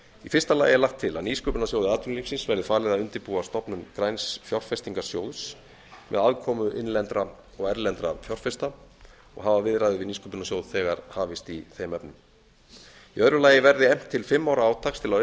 í fyrsta lagi er lagt til að nýsköpunarsjóði atvinnulífsins verði falið að undirbúa stofnun græns fjárfestingarsjóðs með aðkomu innlendra og erlendra fjárfesta og hafa viðræður við nýsköpunarsjóð þegar hafist í þeim efnum í öðru lagi verði efnt til fimm ára átaks til að